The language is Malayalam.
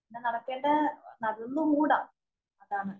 പിന്നെ നടക്കേണ്ട നടന്നുകൂട അതാണ്.